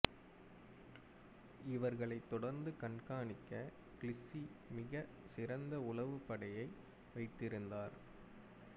இவர்களை தொடந்து கண்காணிக்க கில்சி மிகச் சிறந்த உளவுப்படையை வைத்திருந்தார்